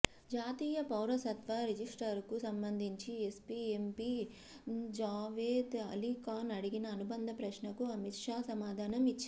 జాతీయ పౌరసత్వ రిజిస్టర్కు సంబంధించి ఎస్పీ ఎంపీ జావేద్ అలీఖాన్ అడిగిన అనుబంధ ప్రశ్నకు అమిత్ షా సమాధానం ఇచ్చారు